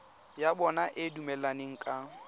ya bona e dumelaneng ka